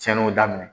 Cɛnniw daminɛ